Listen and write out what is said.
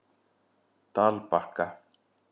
Dalbakka